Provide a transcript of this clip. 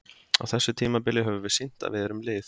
Á þessu tímabili höfum við sýnt að við erum lið.